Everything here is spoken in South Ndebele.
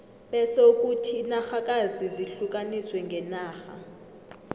bese kuthi inarhakazi zihlukaniswe ngenarha